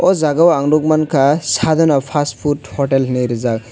oh jagao ang nuk mankha sadhana fast food hotel hinwi rijak.